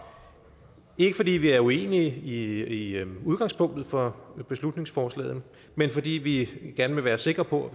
ikke fordi vi er uenige i udgangspunktet for beslutningsforslaget men fordi vi gerne vil være sikre på